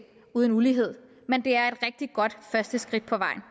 uden ulighed men det er et rigtig godt første skridt på vejen